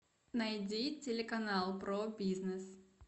найди телеканал про бизнес